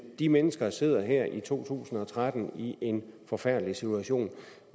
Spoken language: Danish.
de mennesker der sidder her i to tusind og tretten i en forfærdelig situation